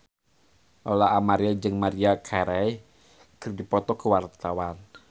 Lola Amaria jeung Maria Carey keur dipoto ku wartawan